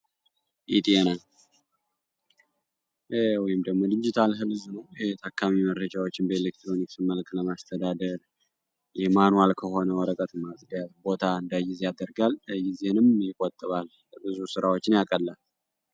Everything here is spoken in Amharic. ኢቲነደሙ ዲጂታል ህልዝ ኖ ተካሚ መረጃዎችን በኤሌክትሮኒክስ መልክ ለማስተዳደር የማኖዋል ከሆነ ወረቀት ማጽደያት ቦታ እንዳጊዜ አደርጋልጊዜንም ይቆጥባል ቅዙ ሥራዎችን ያቀላል